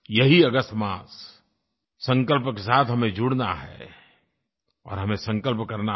यही अगस्त मास संकल्प के साथ हमें जुड़ना है और हमें संकल्प करना है